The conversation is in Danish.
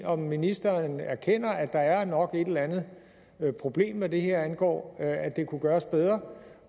om ministeren erkender at der nok er et eller andet problem hvad det her angår altså at det kunne gøres bedre